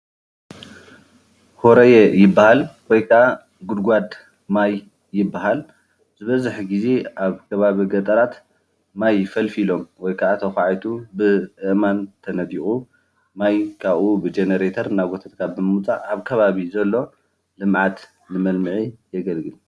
ሆረየ ይባሃል ።ወይ ከዓ ጉድጓድ ማይ ይባሃል። ዝበዘሐ ግዜ ኣብ ከባቢ ገጠራት ማይ ፈልፊሎም ወይ ከዓ ተኳዒቱ ብኣእማን ተነዲቁ ማይ ካብኡ ብጀነሬተር እናጎተትካ ብምውፃእ ኣብ ከባቢ ዘሎ ልምዓት ንመልምዒ የገልግል፡፡